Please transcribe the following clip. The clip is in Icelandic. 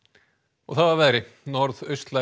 og þá að veðri